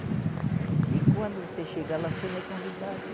E quando você chega lá, você não é convidado.